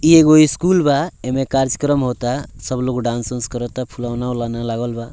एगो स्कूल बा एमें काचकरम होता सब लोग डांस - उन्स करता फूलना-उलवा लागल बा।